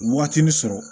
Waatinin sɔrɔ